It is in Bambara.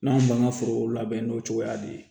N'an b'an ka forow labɛn n'o cogoya de ye